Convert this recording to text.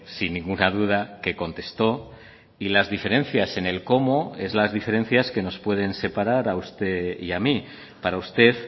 sin ninguna duda que contestó y las diferencias en el cómo es las diferencias que nos pueden separar a usted y a mí para usted